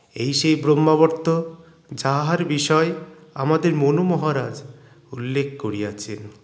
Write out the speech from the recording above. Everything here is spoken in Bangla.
এই সেই ব্রহ্মাবর্ত যাহার বিষয়ে আমাদের মনু মহারাজ উল্লেখ করিয়াছেন